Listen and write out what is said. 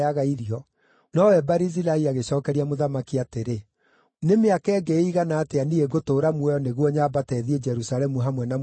Nowe Barizilai agĩcookeria mũthamaki atĩrĩ, “Nĩ mĩaka ĩngĩ ĩigana atĩa niĩ ngũtũũra muoyo nĩguo nyambate thiĩ Jerusalemu hamwe na mũthamaki?